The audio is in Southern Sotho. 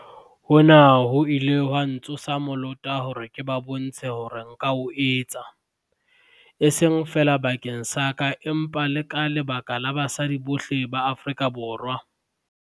"Hona ho ile ha ntsosa molota hore ke ba bontshe hore nka o etsa, e seng feela bakeng sa ka empa le ka lebaka la basadi bohle ba Afrika Borwa."